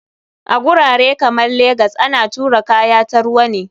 A gurare kamar legas ana tura kaya ta ruwa ne.